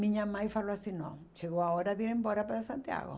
Minha mãe falou assim, não, chegou a hora de ir embora para Santiago.